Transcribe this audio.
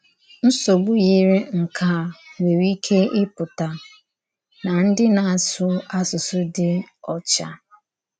Nsọ̀gbù yiri nke a nwerè íké ípụ̀tà nà ndí na-asụ̀ àsụsụ dì ọ́chà.